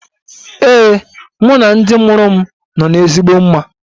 Ee, mụ na ndị mụrụ m nọ n'ezigbo mma.